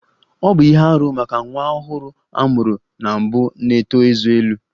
Ọ bụ ihe arụ maka nwa ọhụrụ a mụrụ na mbụ na-eto ezé elu